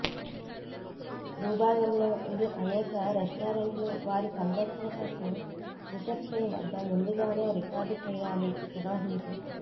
భూభాగంలో ఇది అనేక రెస్టారెంట్లు వారి సందర్శన కోసం రిసెప్షన్ వద్ద ముందుగానే రికార్డు చేయాలి నిర్వహించే